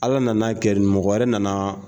Ala nana kɛ mɔgɔ wɛrɛ nana